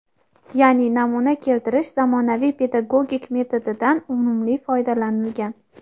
yaʼni "namuna keltirish" zamonaviy pedagogik metodidan unumli foydalanilgan.